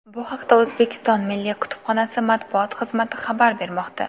Bu haqda O‘zbekiston Milliy kutubxonasi matbuot xizmati xabar bermoqda .